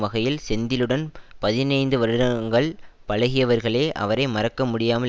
வகையில் செந்திலுடன் பதினைந்து வருடங்கள் பழகியவர்களே அவரை மறக்கமுடியாமல்